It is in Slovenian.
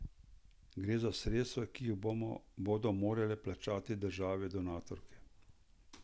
Gre za sredstva, ki jih bodo morale plačati države donatorke.